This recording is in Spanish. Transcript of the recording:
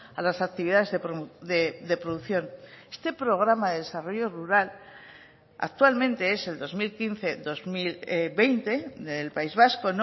a las actividades de producción este programa de desarrollo rural actualmente es el dos mil quince dos mil veinte del país vasco